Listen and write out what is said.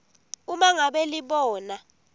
uma ngabe libona